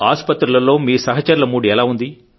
ఆస్పత్రులలో మీ సహచరుల మూడ్ ఎలా ఉంది